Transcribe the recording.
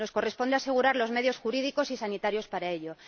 Nos corresponde asegurar los medios jurídicos y sanitarios para ello.